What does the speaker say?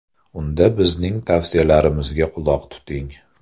Unda bizning tavsiyalarimizga quloq tuting.